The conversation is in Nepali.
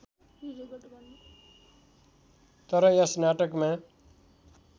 तर यस नाटकमा